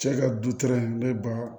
Cɛ ka du ne ba